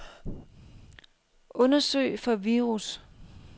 Undersøg for virus.